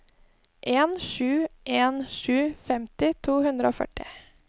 en sju en sju femti to hundre og førti